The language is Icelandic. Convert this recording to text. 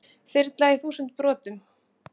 Þyrla í þúsund brotum